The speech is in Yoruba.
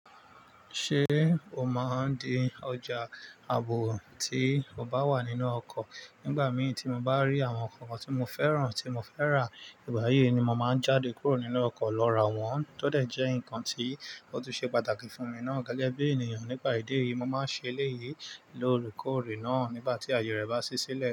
Ṣé o máa ń dín ọjà ààbò tí o bá wà nínú ọkọ̀? Nígbà mií tí mo bá rí àwọn nkan kan tí mo fẹ́ràn tí mo fẹ́ rà, ìgbà yìí ni mo máa ń jáde kúrò nínú ọkọ̀ lọ rà wọ́n, tó dẹ̀ jẹ́ ǹkan tí ó tun ṣe pàtàkì fún mi náà gẹ́gẹ́ bí ènìyàn. Nípà ìdí èyí, mo máa ń ṣe eléyìí loórekọòrè náà nígbà tí àyè rẹ̀ bá ṣí sílẹ̀